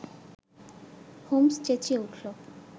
Holmes চেঁচিয়ে উঠল